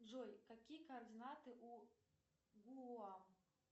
джой какие координаты у гуа